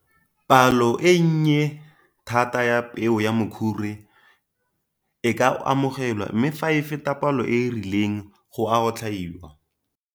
Palo e nnye thata ya peo ya mokhure e ka amogelwa mme fa e feta palo e e rileng go a otlhaiwa.